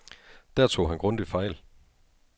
Der tog han grundigt fejl.